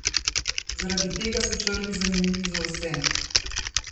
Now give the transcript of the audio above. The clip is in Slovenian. Zaradi tega so črvi zanimivi za vse.